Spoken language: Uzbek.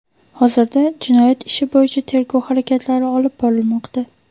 Hozirda jinoyat ishi bo‘yicha tergov harakatlari olib borilmoqda.